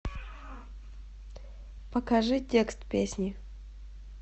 покажи текст песни